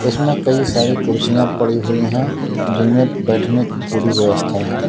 इसमें कई सारी कुर्सियां पड़ी हुई है जिनमें बैठने की पूरी व्यवस्था है।